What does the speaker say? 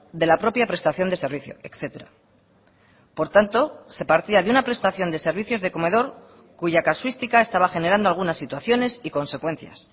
de la propia prestación de servicio etcétera por tanto se partía de una prestación de servicios de comedor cuya casuística estaba generando algunas situaciones y consecuencias